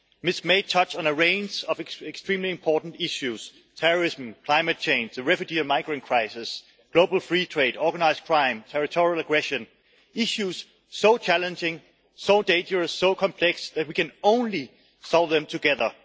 Ms May touched on a range of extremely important issues terrorism, climate change, the refugee and migrant crisis, global free trade, organised crime and territorial aggression issues so challenging, so dangerous and so complex that we can only solve them together.